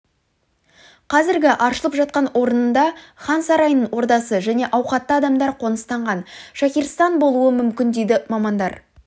қазіргі аршылып жатқан орында хан сарайының ордасы және ауқатты адамдар қоныстанған шахирстан болуы мүмкін дейді мамандар